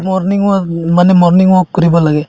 morning walk মানে morning walk কৰিব লাগে